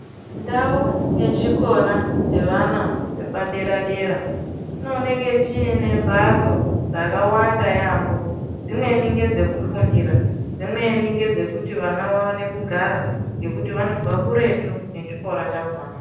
Ndau yechikora chevana vepadera dera chinooneke chine mbatso dzakawanda yampo dzimweni ngedzekufundira dzimweni ngedzekuti vana vaone kugara ngekuti vanobva kure nechikora chakona.